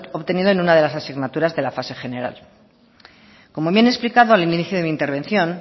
obtenidos en una de las asignaturas de la fase general como bien he explicado al inicio de mi intervención